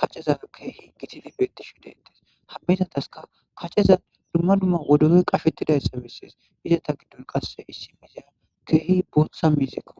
kaceza keehi gitidi beetti shu detes hammizataska kaceza dumma dumma wodore qahetidayssa misiles izata giddon qasse issi miizaya keehi bottsa miziekko.